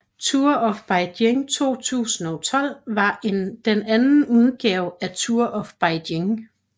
Tour of Beijing 2012 var den anden udgave af Tour of Beijing